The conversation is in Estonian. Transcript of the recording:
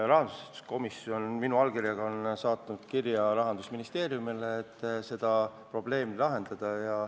Rahanduskomisjon on saatnud minu allkirjaga kirja Rahandusministeeriumile, et seda probleemi lahendada.